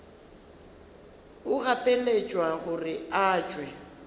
o gapeletšwa gore o tšwe